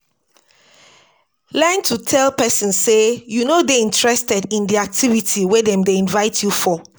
Learn to tell person sey you no dey interested in di activity wey dem dey invite you for